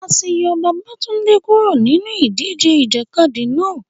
A ti yọ Babatunde kuro ninu idije ijakadi náa